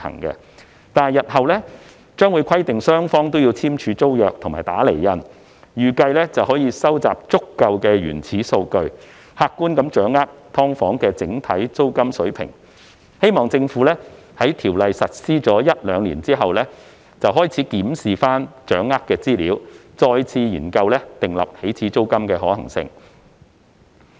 但是，日後將會規定雙方簽訂租約及"打釐印"，預計可以收集足夠的原始數據，客觀掌握"劏房"整體租金水平，希望政府在有關法例實施一兩年後，開始檢視所掌握的資料，再次研究訂立起始租金的可行性。